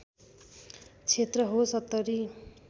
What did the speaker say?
क्षेत्र हो ७०